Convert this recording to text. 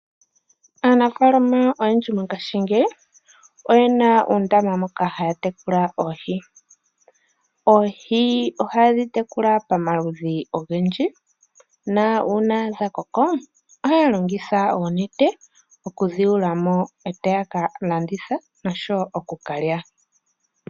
Aanafalama oyendji mongashingeyi oyena oondama moka haya tekula oohi. Oohi ohadhi tekula pamaludhi ogendji, na una dha koko ohaya longitha oonete okudhi yula mo, e taya ka landitha noshowo oku ka lya.